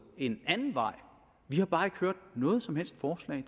en anden vej vi har bare ikke hørt noget som helst forslag